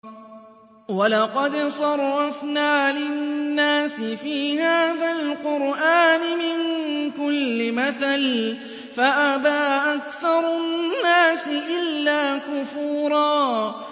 وَلَقَدْ صَرَّفْنَا لِلنَّاسِ فِي هَٰذَا الْقُرْآنِ مِن كُلِّ مَثَلٍ فَأَبَىٰ أَكْثَرُ النَّاسِ إِلَّا كُفُورًا